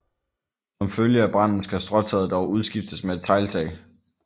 Som følge af branden skal stråtaget dog udskiftes med et tegltag